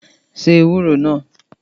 Se ewúro náà!